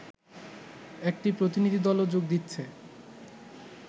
একটি প্রতিনিধিদলও যোগ দিচ্ছে